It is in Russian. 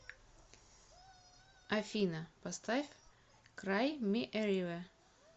афина поставь край ми э ривер